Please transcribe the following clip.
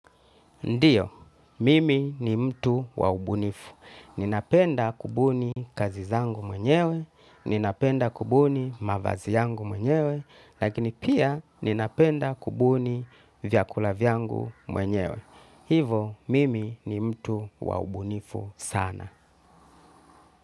Ndio, mimi ni mtu wa ubunifu. Ninapenda kubuni kazi zangu mwenyewe, ninapenda kubuni mavazi yangu mwenyewe, lakini pia ninapenda kubuni vyakula vyangu mwenyewe. Hivo, mimi ni mtu wa ubunifu sana.